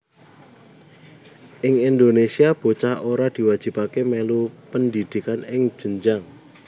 Ing Indonésia bocah ora diwajibaké mèlu pendhidhikan ing jenjang